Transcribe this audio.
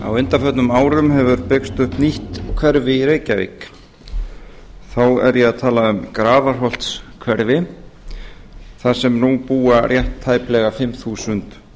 á undanförnum árum hefur byggst upp nýtt hverfi í reykjavík þá er ég að tala um grafarholtshverfið þar sem nú búa rétt tæplega fimm þúsund